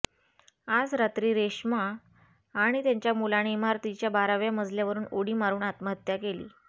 आज रात्री रेश्मा आणि त्यांच्या मुलाने इमारतीच्या बाराव्या मजल्यावरून उडी मारून आत्महत्या केली